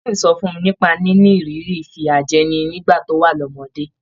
Blessing sọ fún mi nípa níní ìrírí ìfìyàjẹni nígbà tó wà lọ́mọdé.